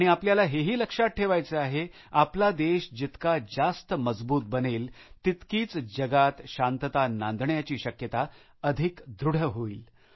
आणि आपल्याला हे ही लक्षात ठेवायचं आहे आपला देश जितका जास्त मजबूत बनेल तितकीच जगात शांतता नांदण्याची शक्यता अधिक दृढ होईल